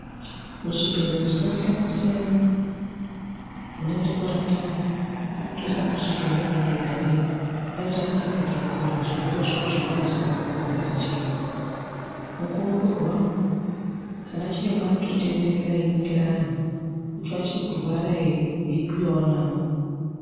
Muzvibhedhlera zvakasiyana siyana munoende korapwe anhu amweni anotosare kuzvibhedhlerayo eigareyo ngendaa yekuti anenge asati apora zvirwere zvawo zveimbonyase kuongororwa ndiana chiremba mukuongororwamwo ana chiremba anototendera einingira anhu kuti achiri kurwara ere veyi bhuyavo navo.